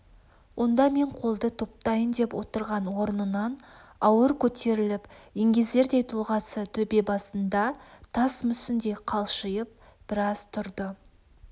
онда мен қолды топтайын деп отырған орнынан ауыр көтеріліп еңгезердей тұлғасы төбе басында тас мүсіндей қалшиып біраз тұрды